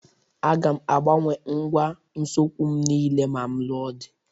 Aga m agbanwe ngwa ụsokwu m niile ma m lụọ di